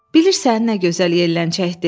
Bilirsən, nə gözəl yelləncəkdir?